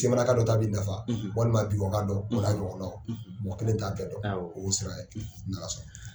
semanaka dɔ' bɛ nafa walima tubabu kan kan dɔn mɔgɔ kelen t'a bɛɛ dɔn o' sira n'ala sɔnna.